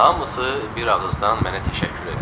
Hamısı bir ağızdan mənə təşəkkür elədi.